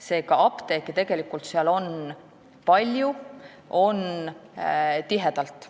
Seega, apteeke on seal tegelikult palju ja tihedalt.